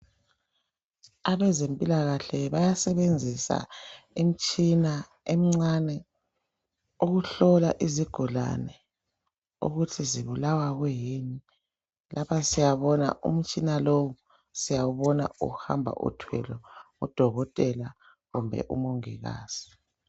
Abezempilakahle bayasebenzisa imitshina emncane ukuhlola izigulani ukuthi zibulawa kuyini lapha siyabona umtshina lowu siyawubona uhamba uthwele ngudokotela kumbe umongikazi.